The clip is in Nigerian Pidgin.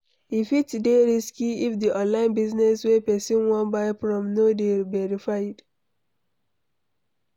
E fit dey risky if di online business wey person wan buy from no dey verified